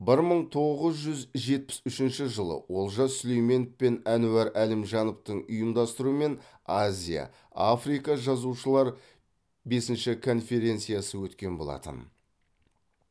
бір мың тоғыз жүз жетпіс үшінші жылы олжас сүлейменов пен әнуар әлімжановтың ұйымдастыруымен азия африка жазушылар бесінші конференциясы өткен болатын